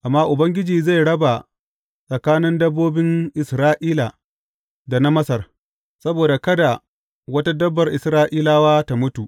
Amma Ubangiji zai raba tsakanin dabbobin Isra’ila da na Masar, saboda kada wata dabbar Isra’ilawa ta mutu.’